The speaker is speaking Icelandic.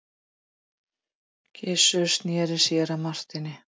Gizur sneri sér að Marteini.